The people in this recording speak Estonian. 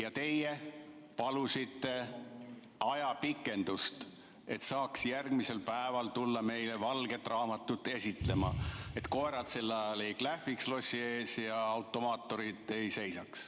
Aga teie palusite ajapikendust, et saaksite järgmisel päeval tulla meile valget raamatut esitlema, ilma et koerad sel ajal lossi ees klähviks ja automaaturid seal seisaks.